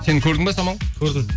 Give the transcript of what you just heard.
сен көрдің бе самал көрдім